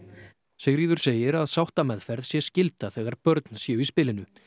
Sigríður segir að sáttameðferð sé skylda þegar börn séu í spilinu